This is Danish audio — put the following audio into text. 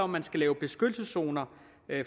man skal lave beskyttelseszoner